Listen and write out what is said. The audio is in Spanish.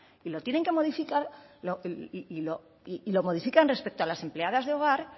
y lo modifican respecto a las empleadas de hogar